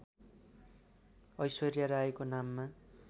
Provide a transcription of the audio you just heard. ऐश्वर्या रायको नाममा